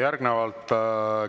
Järgnevalt